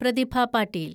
Prathibha Patil